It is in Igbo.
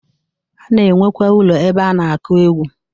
A na-enwekwa ụlọ ebe a na-akụ egwu.